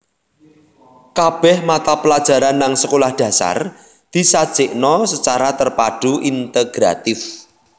Kabeh mata pelajaran nang Sekolah Dasar disajikna secara terpadu integratif